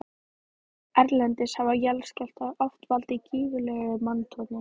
Erlendis hafa jarðskjálftar oft valdið gífurlegu manntjóni.